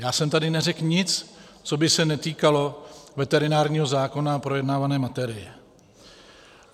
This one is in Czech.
Já jsem tady neřekl nic, co by se netýkalo veterinárního zákona a projednávané materie.